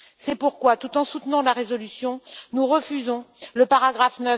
C'est pourquoi tout en soutenant la résolution, nous refusons son paragraphe